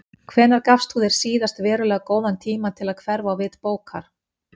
Hvenær gafst þú þér síðast verulega góðan tíma til að hverfa á vit bókar?